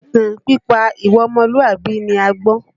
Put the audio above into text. Ìtàn nípa ìwà ọmọlùwàbí ni a gbọ́.